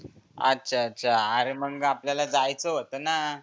अच्छा अच्छा आरे मंग आपल्या जायचा होताना.